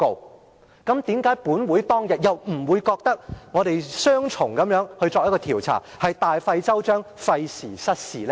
為甚麼當天本會並不認為我們作雙重調查，是大費周章，費時失事呢？